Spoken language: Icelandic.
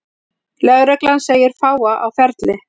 Lögreglan segir fáa á ferli